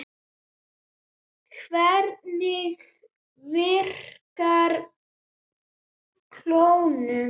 Hvernig virkar klónun?